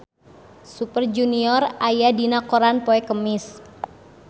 Super Junior aya dina koran poe Kemis